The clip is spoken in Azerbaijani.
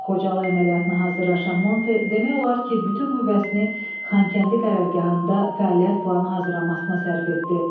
Xocalı əməliyyatına hazırlaşan Monte demək olar ki, bütün qüvvəsini Xankəndi qərargahında fəaliyyət planı hazırlamasına sərf etdi.